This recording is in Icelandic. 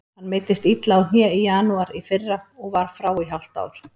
Hann meiddist illa á hné í janúar í fyrra og var frá í hálft ár.